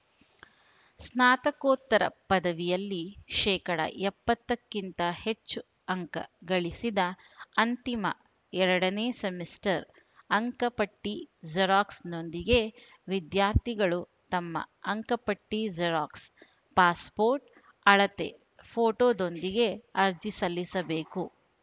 ಸ್ನಾತಕೋತ್ತರ ಪದವಿಯಲ್ಲಿ ಶೇಕಡಾ ಎಪ್ಪತ್ತಕ್ಕಿಂತ ಹೆಚ್ಚು ಅಂಕ ಗಳಿಸಿದ ಅಂತಿಮ ಎರಡನೇ ಸೆಮಿಸ್ಟರ್‌ ಅಂಕಪಟ್ಟಿಜೆರಾಕ್ಸ್‌ನೊಂದಿಗೆ ವಿದ್ಯಾರ್ಥಿಗಳು ತಮ್ಮ ಅಂಕಪಟ್ಟಿಜೆರಾಕ್ಸ್‌ ಪಾಸ್‌ಪೋರ್ಟ್‌ ಅಳತೆ ಫೋಟೋದೊಂದಿಗೆ ಅರ್ಜಿ ಸಲ್ಲಿಸಬೇಕು